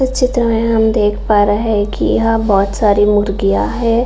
इस चित्र मे हम देख पा रहा है कि यहाँ बहुत सारी मुर्गियाँ हैं |